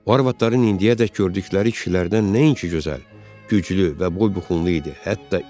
O arvadların indiyədək gördükləri kişilərdən nəinki gözəl, güclü və boybuxunlu idi.